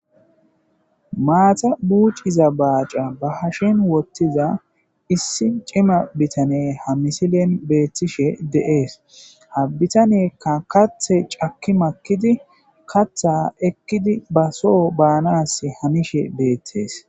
Mata buc'iza bac'c'a ba hashen wotiza issi c'ima bitaney ha missilen betishe de'es ha bitaneyka kathi c'aki makidi katha ekidi so banasi hanishe betes.